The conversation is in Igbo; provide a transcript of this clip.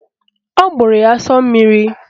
Ọ gbụrụ ya asọ mmiri